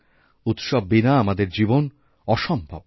উৎসব বিনা আমাদের জীবন অসম্ভব